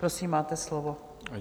Prosím, máte slovo.